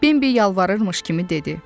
Bimbi yalvarırmış kimi dedi.